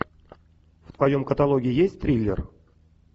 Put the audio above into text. в твоем каталоге есть триллер